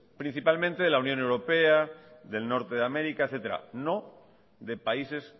principalmente de la unión europea del norte de américa etcétera no de países